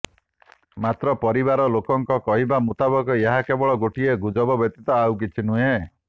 ମାତ୍ର ପରିବାର ଲୋକଙ୍କ କହିବା ମୁତାବକ ଏହା କେବଳ ଗୋଟିଏ ଗୁଜବ ବ୍ୟତୀତ ଆଉ କିଛି ନୁହେଁ